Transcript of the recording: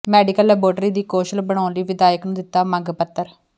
medical laboratory ਦੀ ਕੌਸ਼ਲ ਬਣਾਉਣ ਲਈ ਵਿਧਾਇਕ ਨੂੰ ਦਿੱਤਾ ਮੰਗ ਪੱਤਰ